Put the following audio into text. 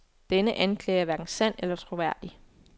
Denne anklage er hverken sand eller troværdig.